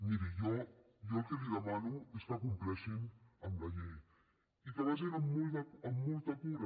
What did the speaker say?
miri jo el que li demano és que compleixin amb la llei i que vagin amb molta cura